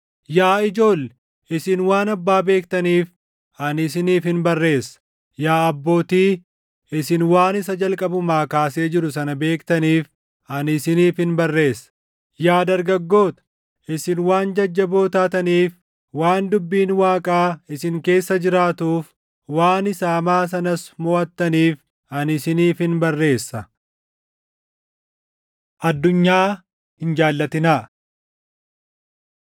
Yaa ijoolle, isin waan Abbaa beektaniif, ani isiniifin barreessa. Yaa abbootii, isin waan isa jalqabumaa kaasee jiru sana beektaniif, ani isiniifin barreessa. Yaa dargaggoota, isin waan jajjaboo taataniif, waan dubbiin Waaqaa isin keessa jiraatuuf, waan isa hamaa sanas moʼattaniif, ani isiniifin barreessa. Addunyaa Hin Jaallatinaa